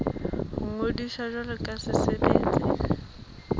ho ngodisa jwalo ka setsebi